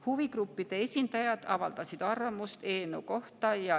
Huvigruppide esindajad avaldasid arvamust eelnõu kohta.